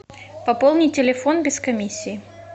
пополни телефон без комиссии